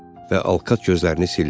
Və Alkat gözlərini sildi.